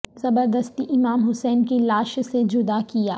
زبردستی امام حسین ع کی لاش سے جدا کیا